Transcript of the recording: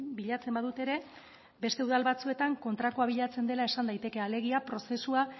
bilatzen badute ere beste udal batzuetan kontrakoa bilatzen dela esan daiteke alegia prozesua